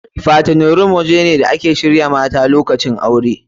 Fattening room waje ne da ake shirya mata lokacin aure.